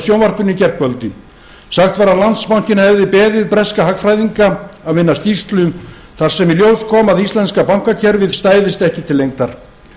sjónvarpinu í gærkvöldi sagt var að landsbankinn hafi beðið breska hagfræðinga að vinna skýrslu þar sem í ljós kom að íslenska bankakerfið stæðist ekki til lengdar